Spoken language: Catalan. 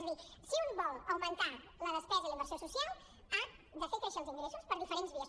és a dir si un vol augmentar la despesa i la inversió social ha de fer créixer els ingressos per diferents vies